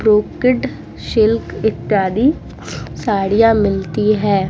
Brocade silk इत्यादि साड़ियाँ मिलती है।